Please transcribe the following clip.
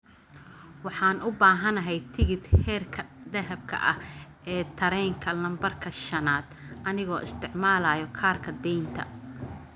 Waxaan u baahanahay tigidh heerka dahabka ah ee tareenka lambarka shanaad anigoo isticmaalaya kaarka deynta